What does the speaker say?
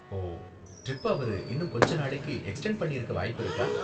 ஓ, ட்ரிப்ப அவரு இன்னும் கொஞ்ச நாளைக்கு எக்ஸ்டெண்ட் பண்ணிருக்க வாய்ப்பிருக்கா?